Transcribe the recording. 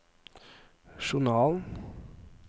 journalen